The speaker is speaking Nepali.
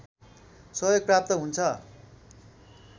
सहयोग प्राप्त हुन्छ